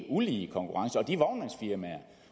ulige konkurrence og de vognmandsfirmaer